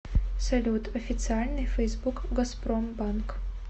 салют официальный фейсбук газпромбанк